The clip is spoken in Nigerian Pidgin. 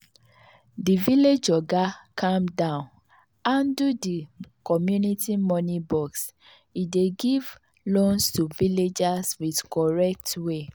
the village oga calm down handle the community money box e dey give loans to villagers with correct way.